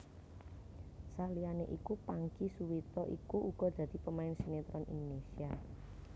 Saliyané iku Pangky Suwito iku uga dadi pemain sinetron Indonésia